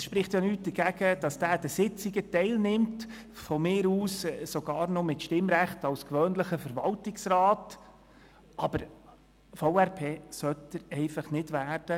Es spricht nichts dagegen, dass dieser an den Sitzungen teilnimmt, von mir aus sogar noch mit dem Stimmrecht eines gewöhnlichen Mitglieds des Verwaltungsrats, aber Verwaltungsratspräsident sollte er nicht werden.